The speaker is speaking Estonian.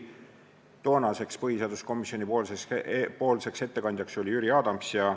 Toona tegi põhiseaduskomisjoni nimel ettekande Jüri Adams.